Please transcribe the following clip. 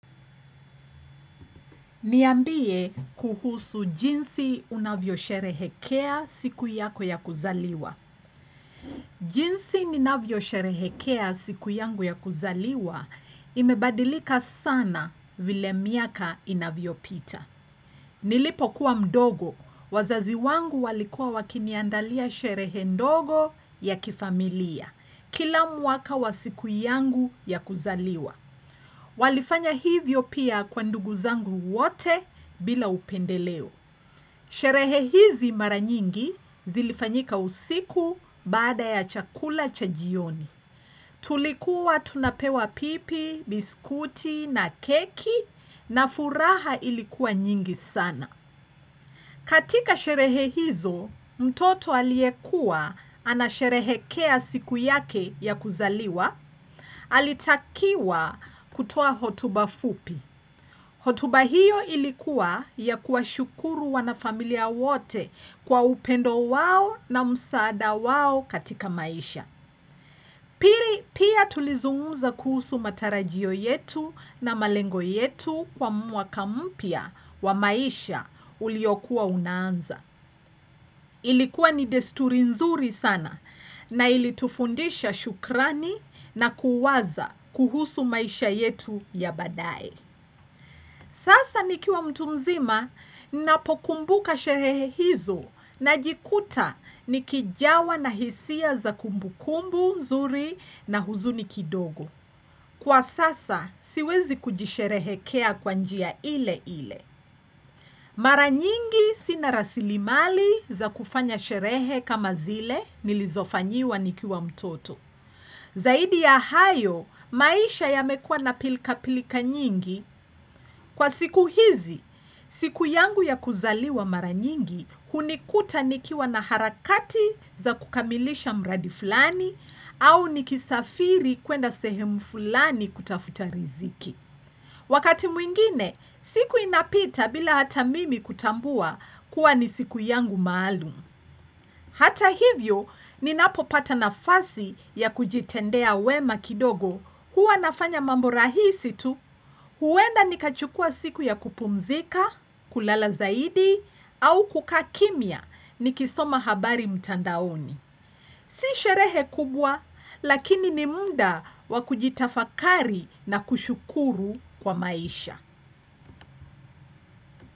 Niambie kuhusu jinsi unavyosherehekea siku yako ya kuzaliwa. Jinsi ninavyo sherehekea siku yangu ya kuzaliwa imebadilika sana vile miaka inavyo pita. Nilipo kuwa mdogo, wazazi wangu walikuwa wakini andalia sherehe ndogo ya kifamilia. Kila mwaka wa siku yangu ya kuzaliwa. Walifanya hivyo pia kwa ndugu zangu wote bila upendeleo. Sherehe hizi mara nyingi zilifanyika usiku baada ya chakula cha jioni. Tulikuwa tunapewa pipi, biskuti na keki na furaha ilikuwa nyingi sana. Katika sherehe hizo, mtoto aliyekuwa anasherehekea siku yake ya kuzaliwa. Alitakiwa kutoa hotuba fupi hotuba hiyo ilikuwa ya kuwa shukuru wanafamilia wote kwa upendo wao na msaada wao katika maisha Pili pia tulizungumza kuhusu matarajio yetu na malengo yetu kwa mwaka mpya wa maisha uliokuwa unaanza Ilikuwa ni desturi nzuri sana na ilitufundisha shukrani na kuwaza kuhusu maisha yetu ya baadae. Sasa nikiwa mtu mzima napokumbuka sherehe hizo najikuta ni kijawa na hisia za kumbu kumbu, nzuri na huzuni kidogo. Kwa sasa siwezi kujisherehekea kwa njia ile ile. Mara nyingi sina rasili mali za kufanya sherehe kama zile nilizofanyiwa nikiwa mtoto. Zaidi ya hayo, maisha yamekua na pilka-pilika nyingi kwa siku hizi, siku yangu ya kuzaliwa mara nyingi hunikuta nikiwa na harakati za kukamilisha mradi fulani au nikisafiri kuenda sehemu fulani kutafuta riziki. Wakati mwingine, siku inapita bila hata mimi kutambua kuwa ni siku yangu maalum. Hata hivyo, ninapopata nafasi ya kujitendea wema kidogo huwa nafanya mambo rahisi tu, huenda nikachukua siku ya kupumzika, kulala zaidi, au kukaa kimya nikisoma habari mtandaoni. Si sherehe kubwa, lakini ni muda wa kujitafakari na kushukuru kwa maisha.